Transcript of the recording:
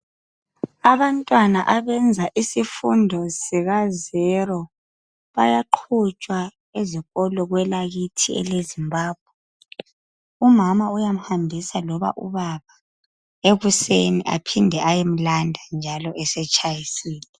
Abantwana abenza isifundo sikazelo. Bayaqatshwa ezikolo kwelakithi eleZimbabwe. Umama uyamhambisa loba ubaba ekuseni aphinde ayemlanda njalo nxa esetshayisile.